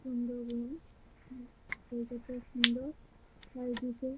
সুন্দর রুম এদিকেও সুন্দর আর এদিকে--